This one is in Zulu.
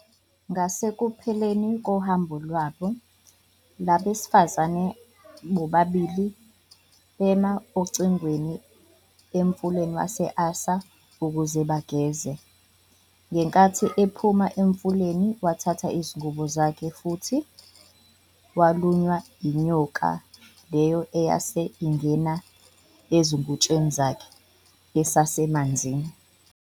Ngasekupheleni kohambo lwabo, labesifazane bobabili bema ogwini emfuleni wase-Assa ukuze bageze. Ngenkathi ephuma emfuleni, wathatha izingubo zakhe futhi walunywa yinyoka leyo eyase ingene ezingutsheni zakhe, esasemanzini.